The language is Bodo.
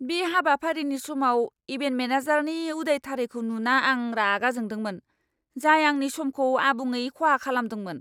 बे हाबाफारिनि समाव इभेन्ट मेनेजारनि उदायथारैखौ नुना आं रागा जोंदोंमोन, जाय आंनि समखौ आबुङै खहा खालामदोंमोन!